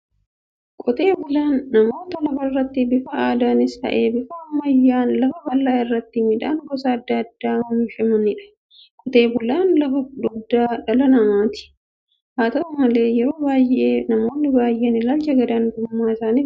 Qotee bulaan namoota lafarratti bifa aadaanis ta'ee bifa ammayyaan lafa bal'aa irratti midhaan gosa adda addaa oomishaniidha. Qotee bulaan lafa dugdaa dhala namaati. Haata'u malee yeroo baay'ee namoonni baay'een ilaalcha gad-aantummaa isaanif qabu.